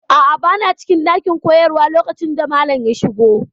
A'a, bana cikin ɗakin koyarwa lokacin da malam ya shiga.